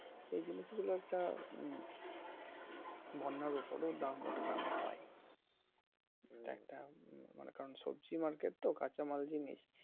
এই জিনিস গুলো একটা বন্যার উপরেও দাম উঠা নামা হয়। একটা মনে করেন সবজি মার্কেট তো কাচা মাল জিনিস